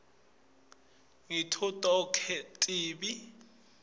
ngito tonkhe tibi